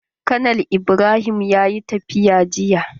Konal Ibrahim ya yi tafiya jiya.